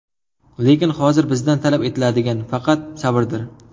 Lekin hozir bizdan talab etiladigani faqat sabrdir.